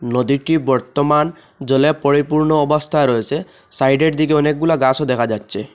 নদীটি বর্তমান জলে পরিপূর্ণ অবস্থায় রয়েসে সাইডের দিকে অনেকগুলা গাছও দেখা যাচ্ছে।